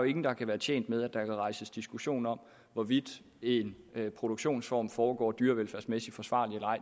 ingen der kan være tjent med at der kan rejses diskussion om hvorvidt en produktionsform foregår dyrevelfærdsmæssigt forsvarligt